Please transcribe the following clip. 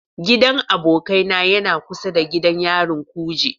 Gidan abokaina yana kusa da gidan yarin kuje.